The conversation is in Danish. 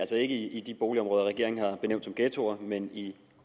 ikke i de boligområder regeringen har benævnt som ghettoer men i